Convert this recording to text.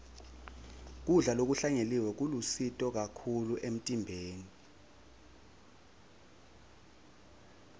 kudla lokuhlanyeliwe kulusito kakhulu emtimbeni